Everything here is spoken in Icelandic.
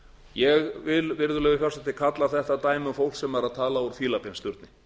ég vil virðulegi forseti kalla þetta dæmi um auk sem er að tala úr fílabeinsturni